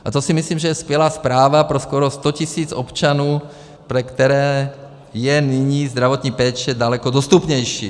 A to si myslím, že je skvělá zpráva pro skoro 100 tisíc občanů, pro které je nyní zdravotní péče daleko dostupnější.